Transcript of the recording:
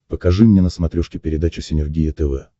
покажи мне на смотрешке передачу синергия тв